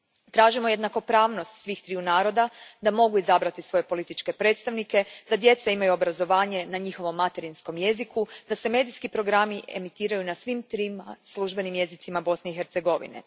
Tražimo jednakopravnost svih triju naroda da mogu izabrati svoje političke predstavnike, da djeca imaju obrazovanje na njihovom materinskom jeziku, da se medijski programi emitiraju na svim trima službenim jezicima Bosne i Hercegovine.